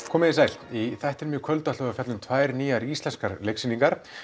komiði sæl í þættinum í kvöld ætlum við að fjalla um tvær nýjar íslenskar leiksýningar